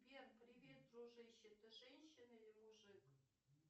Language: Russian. сбер привет дружище ты женщина или мужик